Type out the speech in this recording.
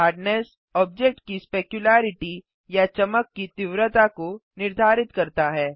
hardness object की specularity या चमक की तीव्रता को निर्धारित करता है